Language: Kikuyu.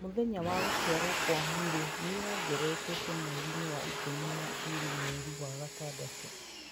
mũthenya wa gũciarwo gwa Mary nĩ ĩongererekete mweri wa ikũmi na ĩĩrĩ mweri wa gatandatũ